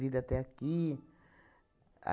Vir até aqui.